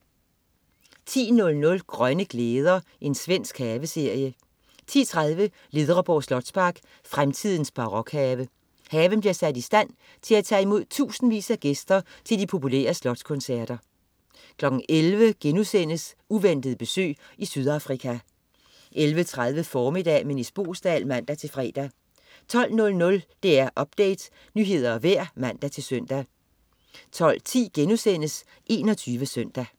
10.00 Grønne glæder. Svensk haveserie 10.30 Ledreborg slotspark, fremtidens barokhave. Haven bliver sat i stand, til at tage imod tusindvis af gæster til de populære slotskoncerter 11.00 Uventet besøg i Sydafrika* 11.30 Formiddag med Nis Boesdal (man-fre) 12.00 DR Update. Nyheder og vejr (man-søn) 12.10 21 Søndag*